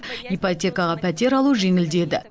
ипотекаға пәтер алу жеңілдеді